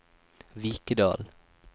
Vikedal